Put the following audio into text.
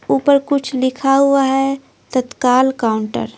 ऊपर कुछ लिखा हुआ है तत्काल काउंटर--